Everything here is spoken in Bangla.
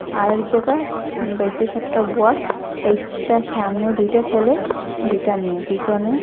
আর এক জায়গা বোয়াত চাইরটা সামনে দুইটা সেলে দুইটা মেয়ে পিছনে--